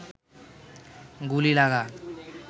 গুলি লাগা